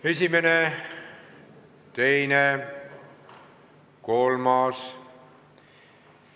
Esimene, teine ja kolmas.